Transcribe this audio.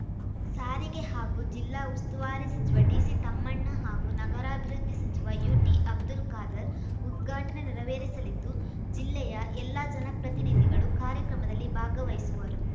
ಸಾರಿಗೆ ಹಾಗೂ ಜಿಲ್ಲಾ ಉಸ್ತುವಾರಿ ಸಚಿವ ಡಿಸಿತಮ್ಮಣ್ಣ ಹಾಗೂ ನಗರಾಭಿವೃದ್ಧಿ ಸಚಿವ ಯುಟಿ ಅಬ್ದುಲ್‌ ಖಾದರ್‌ ಉದ್ಘಾಟನೆ ನೆರವೇರಿಸಲಿದ್ದು ಜಿಲ್ಲೆಯ ಎಲ್ಲಾ ಜನಪ್ರತಿನಿಧಿಗಳು ಕಾರ್ಯಕ್ರಮದಲ್ಲಿ ಭಾಗವಹಿಸುವರು